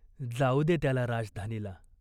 जाऊ दे त्याला राजधानीला.